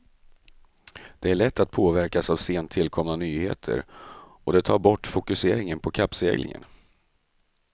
Det är lätt att påverkas av sent tillkomna nyheter och det tar bort fokuseringen på kappseglingen.